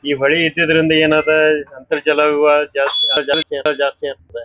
ಈ ಹೊಳಿ ಇದ್ದಿದ್ರಿಂದ ಏನ್ ಅದ್ ಅಂತರ್ಜಲ ವಿವಾಹ ಜಾಸ್ತಿ ಜಾಸ್ತಿ ಆಗ್ತದ.